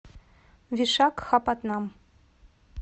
вишакхапатнам